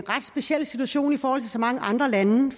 ret speciel situation i forhold til så mange andre lande